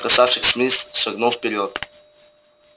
красавчик смит шагнул вперёд